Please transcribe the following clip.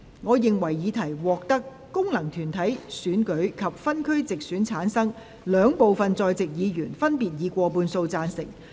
我認為議題獲得經由功能團體選舉產生及分區直接選舉產生的兩部分在席議員，分別以過半數贊成。